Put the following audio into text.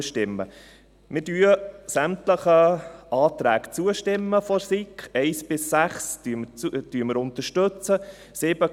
Wir stimmen sämtlichen Anträgen der SiK zu – 1 bis 6 unterstützen wir.